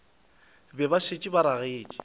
be ba šetše ba ragetše